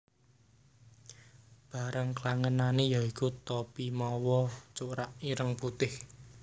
Barang klangenané yaiku topi mawa corak ireng putih